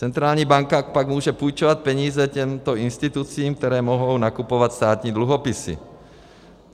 Centrální banka pak může půjčovat peníze těmto institucím, které mohou nakupovat státní dluhopisy.